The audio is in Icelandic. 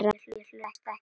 Ég hlusta ekkert á hann.